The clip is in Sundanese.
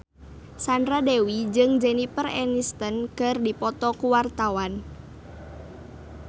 Sandra Dewi jeung Jennifer Aniston keur dipoto ku wartawan